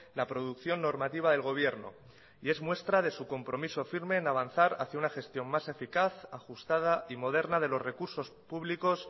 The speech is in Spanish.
la producción normativa del gobierno y es muestra de su compromiso firme en avanzar hacia una gestión más eficaz ajustada y moderna de los recursos públicos